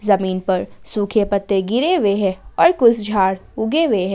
जमीन पर सूखे पत्ते गिरे हुए हैं और कुछ झाड़ उगे हुए हैं।